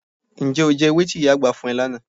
Ǹjẹ́ o jẹ ewé tí ìyá àgbà fún ẹ lánàá?